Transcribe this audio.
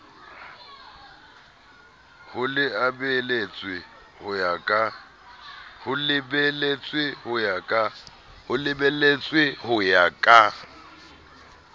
ho lebeletswe ho ya ka